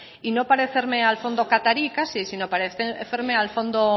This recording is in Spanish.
y no parecerme al fondo catarí casi sino parecerme al fondo